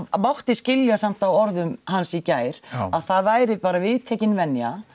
mátti skilja samt á orðum hans í gær að það væri bara viðtekin venja